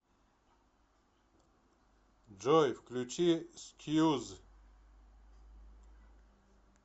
джой включи скьюз